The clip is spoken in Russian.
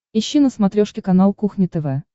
ищи на смотрешке канал кухня тв